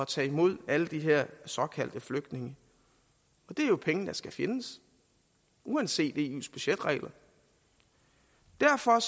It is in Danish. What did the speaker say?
tage imod alle de her såkaldte flygtninge og det er jo penge der skal findes uanset eus budgetregler derfor